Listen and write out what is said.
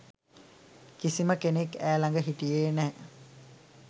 කිසිම කෙනෙක් ඈ ළඟ හිටියේ නෑ